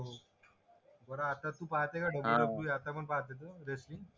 बर तू पाहते का WWE आता पण पाहते का रेसलिंग